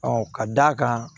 ka d'a kan